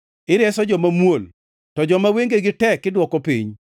Ireso joma muol to joma wengegi tek idwoko piny.